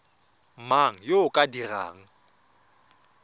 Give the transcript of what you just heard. mang yo o ka dirang